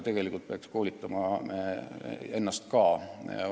Tegelikult me peaksime koolitama ennast ka.